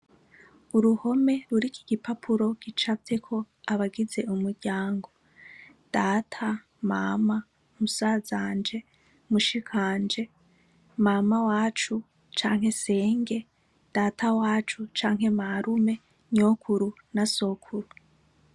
Uruhome ruri iki gipapuro gicavyeko abagize umuryango data mama musazanje mushikanje mama wacu canke senge data wacu canke marume nyokuru na sokuru.